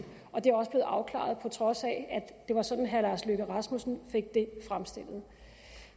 og det er også blevet afklaret på trods af at det var sådan herre lars løkke rasmussen fik det fremstillet